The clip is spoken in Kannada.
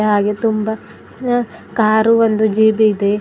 ಹಾಗೆ ತುಂಬಾ ಅ ಕಾರ್ ಒಂದು ಜಿಬ ಇದೆ.